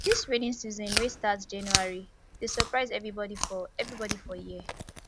dis rainy season wey start january dey surprise everybodi for everybodi for here